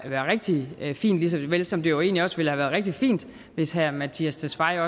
rigtig fint lige så vel som det jo egentlig også ville rigtig fint hvis herre mattias tesfaye